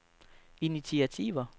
initiativer